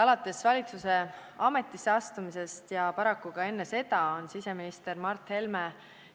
Alates valitsuse ametisse astumisest ja paraku ka enne seda on siseminister Mart Helme